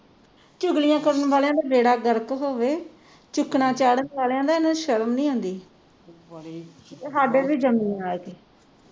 ਚੁਗਲੀਆਂ ਕਰਨ ਵਾਲਿਆਂ ਦਾ ਬੇੜਾ ਗਰਕ ਹੋਵੇ ਚਾੜਨ ਵਾਲਿਆਂ ਦਾ ਇਹਨੂੰ ਸ਼ਰਮ ਨਹੀਂ ਆਂਦੀ ਸਾਡੇ ਵੀ ਆ ਇਥੇ